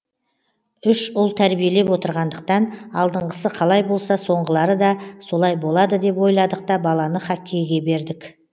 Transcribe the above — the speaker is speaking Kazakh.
үш ұл тәрбиелеп отырғандықтан алдыңғысы қалай болса соңғылары да солай болады деп ойладық та баланы хоккейге бердік